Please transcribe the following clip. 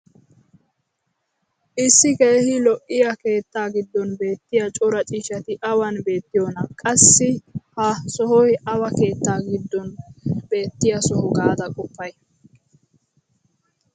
issi keehi lo'iya keettaa giddon beettiya cora ciishshati awan beetiyoonaa? qassi ha sohoy awa keettaa giddon beettiya soho gaada qoppay?